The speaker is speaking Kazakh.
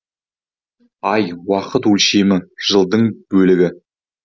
ай уақыт өлшемі жылдың бөлігі